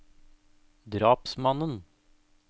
drapsmannen